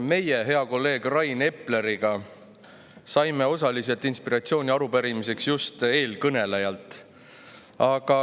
Meie hea kolleegi Rain Epleriga saime osaliselt inspiratsiooni arupärimiseks just eelkõnelejalt.